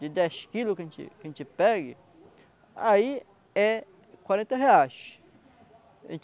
de dez quilos que a gente que a gente pega, aí é quarenta reais.